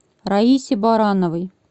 раисе барановой